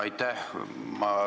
Aitäh!